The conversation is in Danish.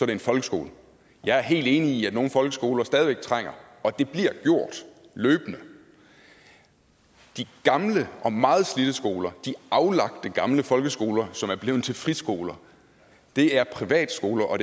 det folkeskole jeg er helt enig i at nogle folkeskoler stadig væk trænger til og det bliver gjort løbende de gamle og meget slidte skoler de aflagte gamle folkeskoler som er blevet til friskoler er privatskoler og